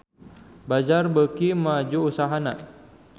Bazaar beuki maju usahana